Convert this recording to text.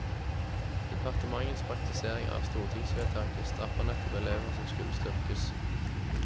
Departementets praktisering av stortingsvedtaket straffer nettopp elever som skulle styrkes.